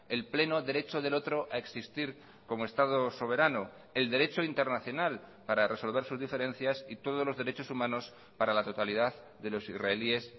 el pleno derecho del otro a existir como estado soberano el derecho internacional para resolver sus diferencias y todos los derechos humanos para la totalidad de los israelíes